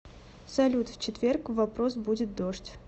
салют в четверг в вопрос будет дождь